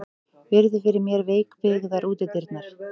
Virði fyrir mér veikbyggðar útidyrnar.